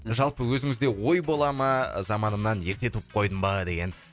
жалпы өзіңізде ой бола ма заманымнан ерте туып қойдым ба деген